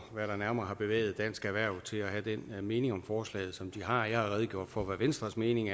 hvad der nærmere har bevæget dansk erhverv til at have den mening om forslaget som de har jeg har redegjort for hvad venstres mening